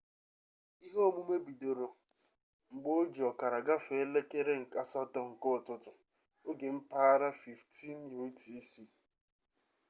ihe omume bidoro n’elekere 8:30 nke ụtụtụ. oge mpaghara 15.00 utc